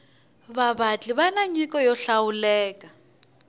vavatli vani nyiko yo hlawuleka